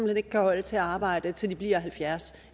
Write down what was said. hen ikke kan holde til at arbejde til de bliver halvfjerds